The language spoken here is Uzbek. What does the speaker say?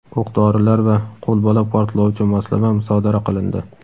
o‘q-dorilar va qo‘lbola portlovchi moslama musodara qilindi.